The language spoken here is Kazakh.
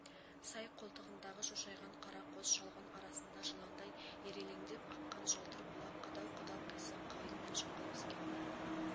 сай қолтығындағы шошайған қара қос шалғын арасында жыландай ирелеңдеп аққан жалтыр бұлақ қадау-қадау қисық қайың мен жыңғыл өскен